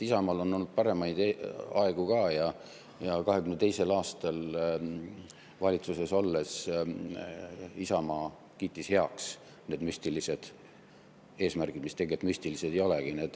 Isamaal on olnud paremaid aegu ka ja 2022. aastal valitsuses olles Isamaa kiitis heaks need müstilised eesmärgid, mis tegelikult müstilised ei olegi.